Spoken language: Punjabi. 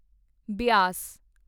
ਬਿਆਸ